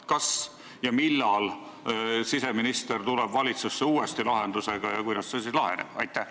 Kas ja millal siseminister tuleb uuesti valitsusse lahendusega ja kuidas see asi siis laheneb?